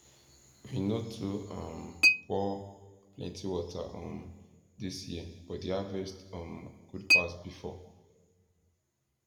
we no too um pour plenty water um dis year but di harvest um good pass before